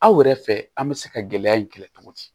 Anw yɛrɛ fɛ an bɛ se ka gɛlɛya in kɛlɛ cogo di